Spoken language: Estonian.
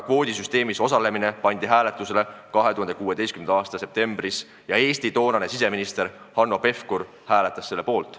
Kvoodisüsteemis osalemine pandi hääletusele 2016. aasta septembris ja Eesti toonane siseminister Hanno Pevkur hääletas selle poolt.